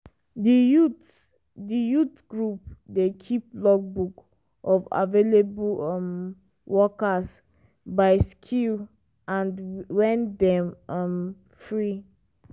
di youth di youth group dey keep logbook of available um workers by skill and when dem um free.